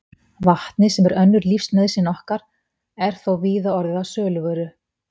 Vatnið, sem er önnur lífsnauðsyn okkar, er þó víða orðið að söluvöru.